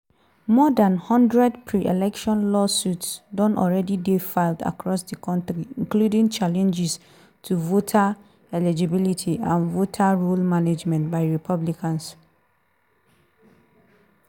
more dan one hundred pre-election lawsuits don already dey filed across di kontri including challenges to voter eligibility and voter roll management by republicans.